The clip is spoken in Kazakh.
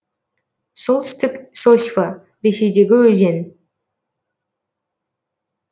солтүстік сосьва ресейдегі өзен